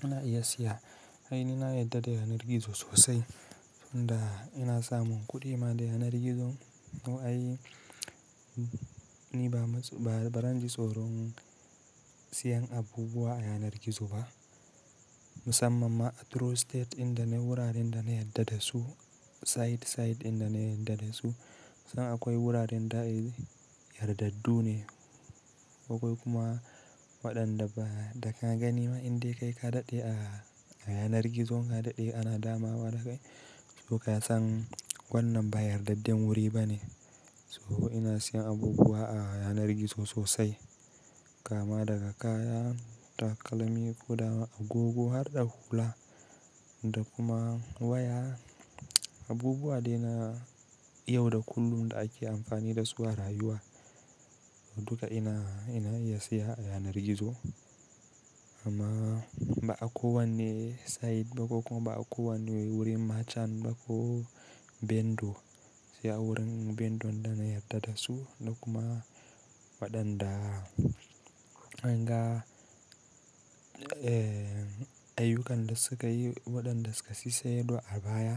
ina iya siya, ai ni na yarda da yanar gizo sosai, tunda ina samun kuɗi ma da yanar gizo mu ai ni ba, ba, ba zan ji tsoron siyan abubuwa a yanar gizo ba. Musamman ma a Trustate inda nayi wuraren da na yarda da su, site, site dinda na yarda da su. Sannan akwai wuraren da ehh yardaddu ne, akwai kuma waɗanda ba, da ka gani ma in dai kai ka daɗe a, a yanar gizon ka daɗe ana damawa da kai, to ka san wannan ba yardaddan wuri ba ne. So ina siyan abubuwa a yanar gizo sosai. Kama daga kaya, takalmi, guda, agogo har da hula da kuma waya. Abubuwa dai na, yau da kullum da ake amfani da su a rayuwa. Duka ina, ina iya siya a yanar gizo. Amma ba ako wanne site ba ko kuma ba ako wanne wurin merchant ba ko bendo. Siya wurin bendo da na yarda da su da kuma waɗanda anga, eh, ayyukan da suka yi, waɗanda suka sassai ɗo a baya.